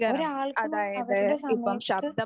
ഒരാൾക്കും അവരുടെ സമയത്ത്